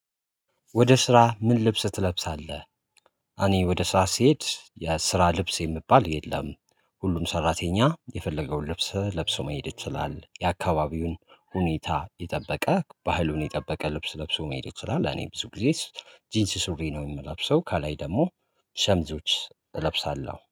ወደ ስራ ምን ልብስ ትለብሳለህ? እኔ ወደ ስራ ስሄድ የስራ ልብስ የምባል የለም ሁሉም ሰራተኛ የፈለገውን ልብስ ለብሶ መሄድ ይችላል የአካባቢውን ሁኔታ የጠበቀ ባህሉን የጠበቀ ልብስ ለብሶ መሄድ ይችላል። እኔ ብዙ ጊዜ ጂንስ ሱሪ ነው የምለብሰው ከላይ ደግሞ ሸሚዞች እለብሳለሁ